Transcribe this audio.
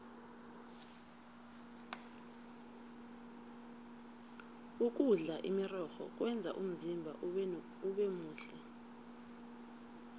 ukudla imirorho kwenza umzimba ubemuhle